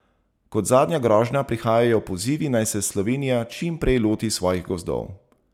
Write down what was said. Kot zadnja grožnja prihajajo pozivi, naj se Slovenija čim prej loti svojih gozdov.